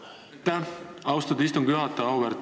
Aitäh, austatud istungi juhataja!